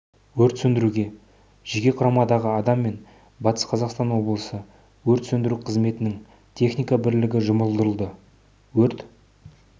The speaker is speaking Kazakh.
өрт сөндіруге жеке құрамдағы адам мен батыс қазақстан облысы өрт сөндіру қызметінің техника бірлігі жұмылдырылды өрт